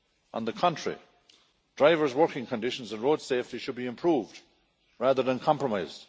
On the contrary, drivers' working conditions and road safety should be improved rather than compromised.